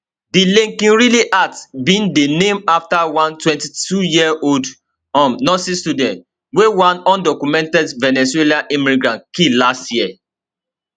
di laken riley act bin dey named afta one 22yearold um nursing student wey one undocumented venezuelan immigrant kill last year